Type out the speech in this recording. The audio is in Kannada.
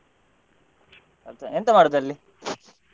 ಹೌದಾ ಎಂತ ಮಾಡುದ್ ಅಲ್ಲಿ?